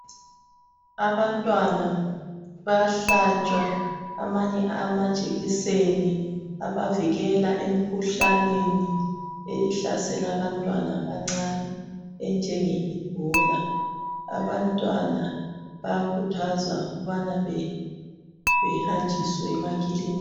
Abantwana bayahlatshwa amanye amajekiseni abavikela emkhuhlaneni ehlasela abantwana abancane enjenge Ebola , abantwana bayakhuthazwa ukubana behanjiswe emakilinika.